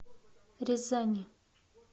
рязани